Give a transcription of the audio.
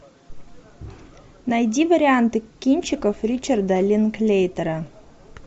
найди варианты кинчиков ричарда линклейтера